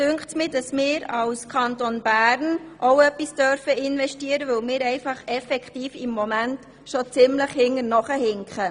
Mir scheint, dass wir als Kanton Bern auch etwas investieren dürfen, weil wir im Moment in diesem Bereich schon ziemlich hinterherhinken.